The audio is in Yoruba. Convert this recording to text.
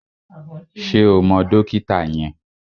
Ṣé o mọ dókítà yẹn?